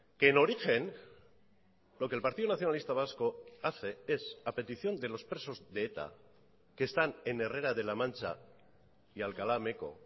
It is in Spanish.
que en origen lo que el partido nacionalista vasco hace es a petición de los presos de eta que están en herrera de la mancha y alcalá meco